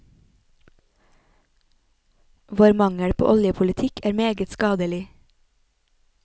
Vår mangel på oljepolitikk er meget skadelig.